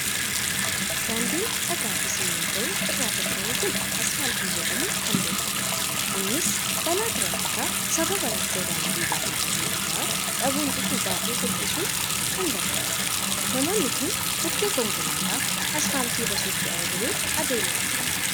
Daandiin dhagaa fi simmintoo irraa tolfamu kun asfaaltii jedhamuun kan beekamudha. Innis balaa tiraafikaa sababa rakkoo daandii gaarii dhabuu irraa dhabuun dhufu baay'ee hir'isuuf kan gargaarudha. Namoonni kun bukkee konkolaataa asfaaltii irra socho'aa jiru adeemaa jiru.